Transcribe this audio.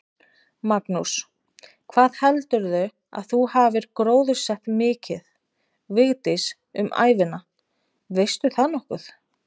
Magnús: Hvað heldurðu að þú hafir gróðursett mikið, Vigdís, um ævina, veistu það nokkuð?